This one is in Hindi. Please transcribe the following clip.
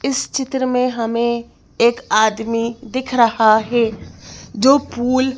इस चित्र में हमें एक आदमी दिख रहा है जो पूल --